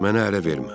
Mənə ələ vermə.